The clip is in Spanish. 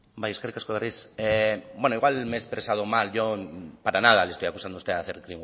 bai eskerrik asko berriz bueno igual me he expresado mal yo para nada le estoy acusando a usted de hacer